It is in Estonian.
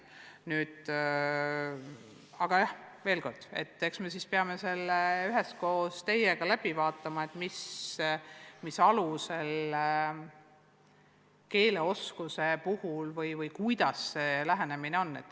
Aga veel kord: eks me peame selle koos teiega läbi arutama, mis alusel keeleoskuse parandamist toetada võiks, milline lähenemine sobiks.